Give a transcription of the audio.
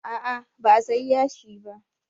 A'a ba a sayi yashi ba